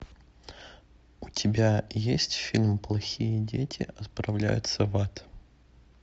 у тебя есть фильм плохие дети отправляются в ад